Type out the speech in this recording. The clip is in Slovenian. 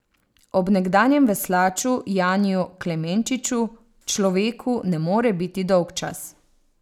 Ob nekdanjem veslaču Janiju Klemenčiču človeku ne more biti dolgčas.